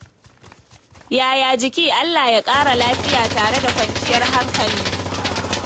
Yaya jiki? Allah ya ƙara lafiya tare da kwanciyar hankali.